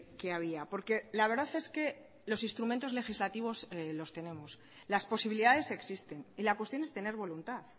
que había porque la verdad es que los instrumentos legislativos los tenemos las posibilidades existen y la cuestión es tener voluntad